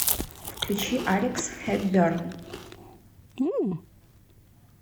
включи алекс хепберн